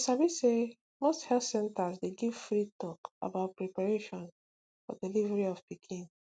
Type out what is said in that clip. you sabi say most health centers dey give free talk about preparation for delivery of pikin